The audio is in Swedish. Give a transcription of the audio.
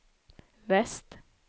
väst